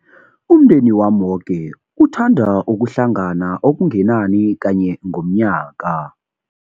Umndeni wami woke uthanda ukuhlangana okungenani kanye ngomnyaka.